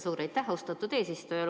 Suur aitäh, austatud eesistuja!